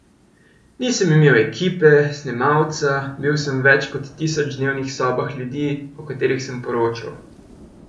Nisem imel ekipe, snemalca, bil sem v več kot tisoč dnevnih sobah ljudi, o katerih sem poročal.